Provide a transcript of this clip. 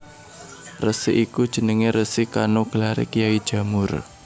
Resi iku jenenge Resi Kano gelare Kyai Jamur